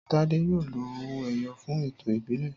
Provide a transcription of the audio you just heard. Tádé yóò lo owó-ẹyọ fún ẹ̀tọ́ ìbílẹ̀.